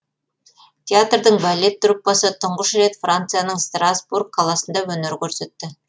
театрдың балет труппасы тұңғыш рет францияның страсбург қаласында өнер көрсетті